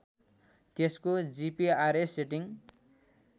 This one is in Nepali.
त्यसको जिपिआरएस सेटिङ